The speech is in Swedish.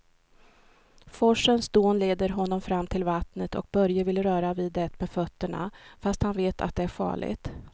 Forsens dån leder honom fram till vattnet och Börje vill röra vid det med fötterna, fast han vet att det är farligt.